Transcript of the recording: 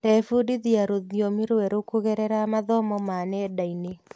Ndebundithia rũthiomi rwerũ kũgerera mathomo ma nenda-inĩ.